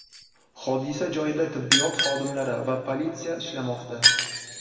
Hodisa joyida tibbiyot xodimlari va politsiya ishlamoqda.